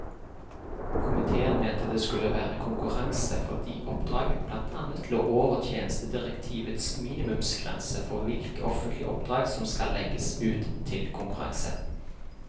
Komitéen mente det skulle vært konkurranse fordi oppdraget blant annet lå over tjenestedirektivets minimumsgrense for hvilke offentlige oppdrag som skal legges ut til konkurranse.